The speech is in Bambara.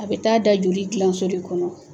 A bɛ taa da joli gilanso de kɔnɔ.